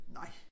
Nej